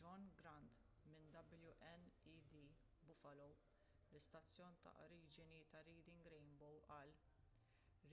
john grant minn wned buffalo l-istazzjon ta’ oriġini ta’ reading rainbow qal: